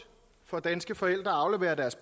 for danske forældre at aflevere deres